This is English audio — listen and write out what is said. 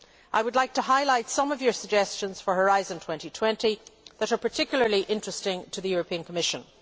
I would like to highlight some of your suggestions for Horizon 2020 that are particularly interesting to the Commission.